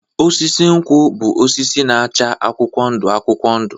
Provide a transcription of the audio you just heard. Osisi nkwụ bụ osisi na-acha akwụkwọ ndụ akwụkwọ ndụ.